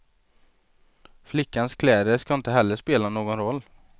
Flickans kläder ska inte heller spela någon roll.